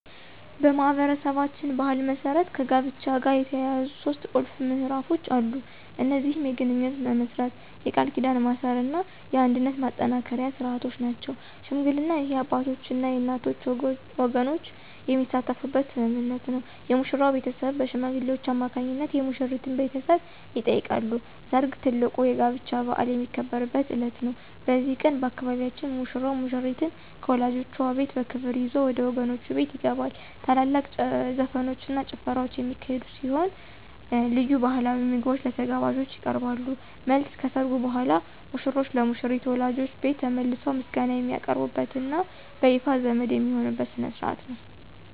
በማኅበረሰባችን ባሕል መሠረት ከጋብቻ ጋር የተያያዙ ሦስት ቁልፍ ምዕራፎች አሉ። እነዚህም የግንኙነት መመስረት፣ የቃል ኪዳን ማሰርና የአንድነት ማጠናከሪያ ሥርዓቶች ናቸው። ሽምግልና: ይህ የአባቶችና የእናቶች ወገኖች የሚሳተፉበት ስምምነት ነው። የሙሽራው ቤተሰብ በሽማግሌዎች አማካኝነት የሙሽሪትን ቤተሰብ ይጠይቃሉ። ሰርግ: ትልቁ የጋብቻ በዓል የሚከበርበት ዕለት ነው። በዚህ ቀን፣ በአካባቢያችን ሙሽራው ሙሽሪትን ከወላጆቿ ቤት በክብር ይዞ ወደ ወገኖቹ ቤት ይገባል። ታላላቅ ዘፈኖችና ጭፈራዎች የሚካሄዱ ሲሆን፣ ልዩ ባሕላዊ ምግቦች ለተጋባዦች ይቀርባሉ። መልስ : ከሠርጉ በኋላ ሙሽሮች ለሙሽሪት ወላጆች ቤት ተመልሰው ምስጋና የሚያቀርቡበትና በይፋ ዘመድ የሚሆኑበት ሥነ ሥርዓት ነው።